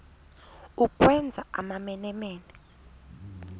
ukwenza amamene mene